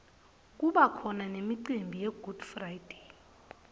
kubakhona nemicimbi yegood friday